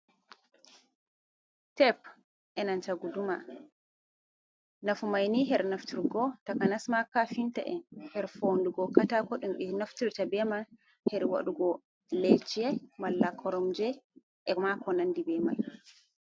Tep enanta guduma nafu maini her nafturgo takanas ma kafinta en her fondugo katako ɗum ɓe naftirta beman her waɗugo leeso malla koromje ema ko nandibe mai.